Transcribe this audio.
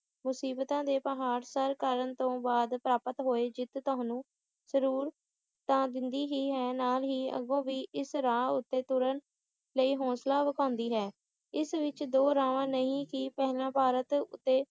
ਮੁਸੀਬਤਾਂ ਦੇ ਪਹਾੜ ਸਰ ਤਾਰਨ ਤੋਂ ਬਾਅਦ ਪ੍ਰਾਪਤ ਹੋਈ ਜਿੱਤ ਤੁਹਾਨੂੰ ਜ਼ਰੂਰ ਤਾਂ ਦਿੰਦੀ ਹੀ ਹੈ ਨਾਲ ਹੀ ਅੱਗੋਂ ਵੀ ਇਸ ਰਾਹ ਤੇ ਤੁਰਨ ਲਈ ਹੋਂਸਲਾ ਵਿਖਾਉਂਦੀ ਹੈ ਇਸ ਵਿੱਚ ਦੋ ਰਾਏ ਨਹੀਂ ਕਿ ਪਹਿਲਾਂ ਭਾਰਤ ਉੱਤੇ